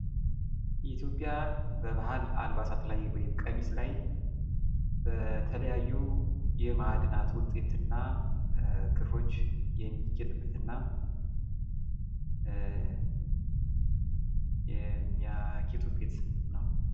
የኢትዮጵያ በባህል አልባሳት ላይ ቀሚስ ላይ በተለያዩ የማእድናት ውጤትና ክፍሎች የሚጊጡበት ነው